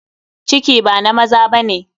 Ciki ba na maza ba ne.